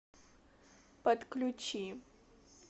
подключи